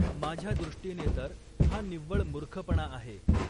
माझ्या दृष्टीने तर हा निव्वळ मूर्खपणा आहे.